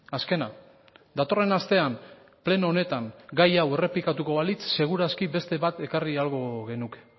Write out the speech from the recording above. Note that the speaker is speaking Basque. azkena datorren astean pleno honetan gai hau errepikatuko balitz seguru aski beste bat ekarri ahalko genuke